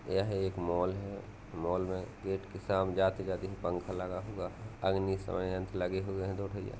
यह एक मॉल है मॉल में गेट के साम जाते जाते एक पंखा लगा हुआ है अग्निशमन यंत्र लगे हैं दो भइया --